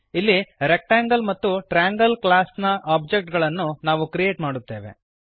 ಇಲ್ಲಿ ರೆಕ್ಟಾಂಗಲ್ ಮತ್ತು triangle class ನ ಒಬ್ಜೆಕ್ಟ್ ಗಳನ್ನು ನಾವು ಕ್ರಿಯೇಟ್ ಮಾಡುತ್ತೇವೆ